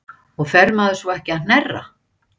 Magnús Hlynur: Og fer maður svo ekki að hnerra?